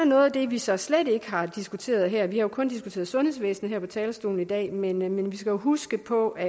noget af det vi så slet ikke har diskuteret her vi har jo kun diskuteret sundhedsvæsen her på talerstolen i dag men vi skal huske på at